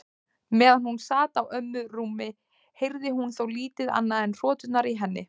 Meðan hún sat á ömmu rúmi heyrði hún þó lítið annað en hroturnar í henni.